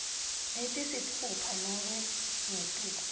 letisitfupha nobe ngetulu